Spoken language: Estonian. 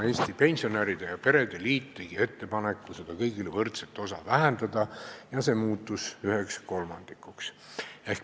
Eesti Pensionäride ja Perede Liit tegi ettepaneku seda kõigile võrdset osa vähendada ja see muutus üheks kolmandikuks.